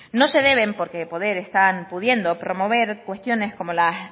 no se deben porque poder están pudiendo promover cuestiones como las